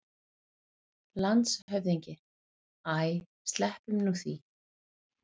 LANDSHÖFÐINGI: Æ, sleppum nú því!